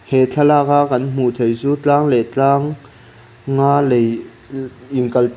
he thlalak a kan hmuh heih chu tlang leh tlang a lei in kal tawn--